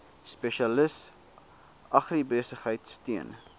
spesialis agribesigheid steun